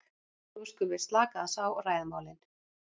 nú skulum við slaka aðeins á og ræða málin.